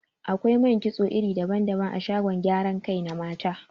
Akwai man kitso iri daban-daban a shagon gyaran kai na mata.